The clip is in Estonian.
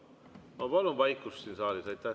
Ma palun vaikust siin saalis!